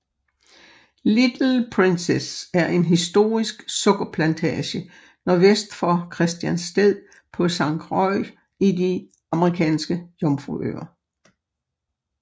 Little Princess er en historisk sukkerplantage nordvest for Christiansted på Sankt Croix i de Amerikanske Jomfruøer